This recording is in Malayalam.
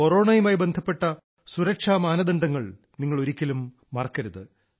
കൊറോണയുമായി ബന്ധപ്പെട്ട സുരക്ഷാ മാനദണ്ഡങ്ങൾ നിങ്ങൾ ഒരിക്കലും മറക്കരുത്